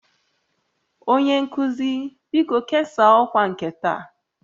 Onye nkuzi, biko kesaa ọkwa nke taa